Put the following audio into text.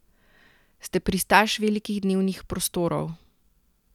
Ste pristaš velikih dnevnih prostorov?